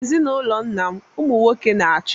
N'ezinụlọ nna m, ụmụ nwoke na-achị.